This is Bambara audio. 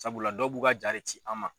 Sabula dɔw b'u ka jaa de ci an ma.